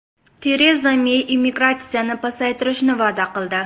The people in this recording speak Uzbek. Tereza Mey immigratsiyani pasaytirishni va’da qildi.